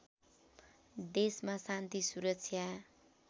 देशमा शान्ति सुरक्षा